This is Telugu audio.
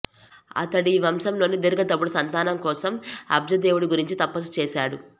అతడి వంశంలోని దీర్ఘతపుడు సంతానం కోసం అబ్జదేవుడి గురించి తపస్సు చేశాడు